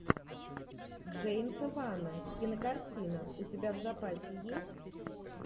джеймса вана кинокартина у тебя в запасе есть